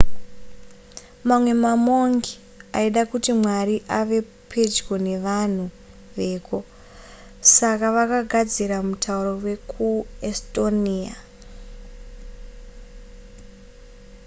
mamwe mamongi aida kuti mwari ave pedyo nevanhu veko saka vakagadzira mutauro wekuestonia